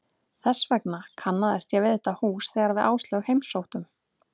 Þess vegna kannaðist ég við þetta hús þegar við Áslaug heimsóttum